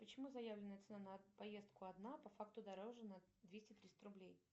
почему заявленная цена на поездку одна а по факту дороже на двести триста рублей